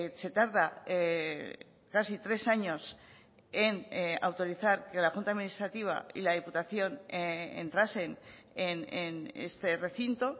se tarda casi tres años en autorizar que la junta administrativa y la diputación entrasen en este recinto